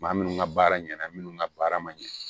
Maa minnu ka baara ɲɛna minnu ka baara ma ɲɛ